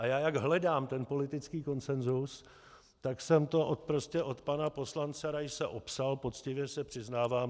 A já jak hledám ten politický konsenzus, tak jsem to prostě od pana poslance Raise opsal, poctivě se přiznávám.